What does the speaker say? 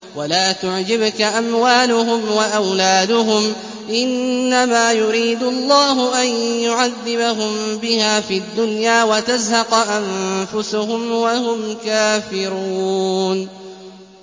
وَلَا تُعْجِبْكَ أَمْوَالُهُمْ وَأَوْلَادُهُمْ ۚ إِنَّمَا يُرِيدُ اللَّهُ أَن يُعَذِّبَهُم بِهَا فِي الدُّنْيَا وَتَزْهَقَ أَنفُسُهُمْ وَهُمْ كَافِرُونَ